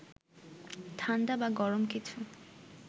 ঠাণ্ডা বা গরম কিছু